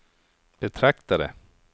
betraktade